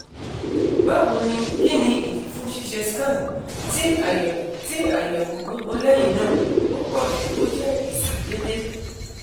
bawo ni kini idi fun ṣiṣe scan? ti ayẹwo ti ayẹwo gbogbo lẹhinna opoju o je isi dede